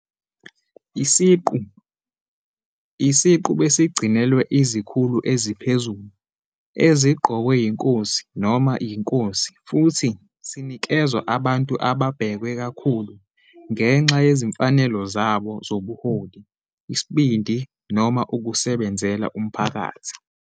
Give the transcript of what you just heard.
Isiqu besigcinelwe izikhulu eziphezulu eziqokwe yinkosi noma yinkosi futhi sinikezwa abantu ababhekwe kakhulu ngenxa yezimfanelo zabo zobuholi, isibindi noma ukusebenzela umphakathi.